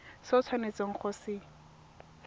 se o tshwanetseng go se